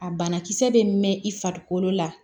A banakisɛ bɛ mɛn i farikolo la